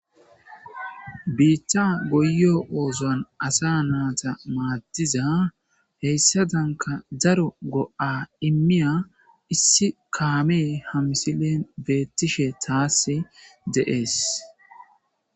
biitta goyo oozoan asa naata maaddiza heyssadanka daro go7a immiya issi kaamee hamisilen beettishe taass deees